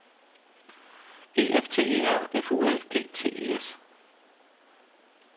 E F T E R F U L G T E S